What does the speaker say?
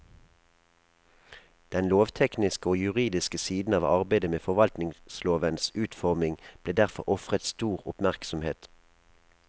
Den lovtekniske og juridiske siden av arbeidet med forvaltningslovens utforming ble derfor ofret stor oppmerksomhet.